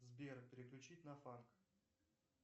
сбер переключить на фанк